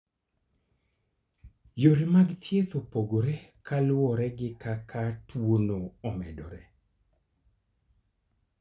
Yore mag thieth opogore ka luwore gi kaka tuwono omedore.